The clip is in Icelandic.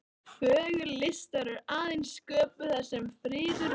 Fögur list verður aðeins sköpuð þar sem friður ríkir.